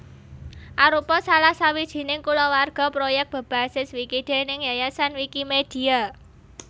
Arupa salah sawijining kulawarga proyèk bebasis wiki déning Yayasan Wikimedia